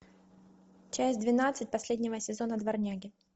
часть двенадцать последнего сезона дворняги